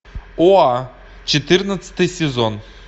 оа четырнадцатый сезон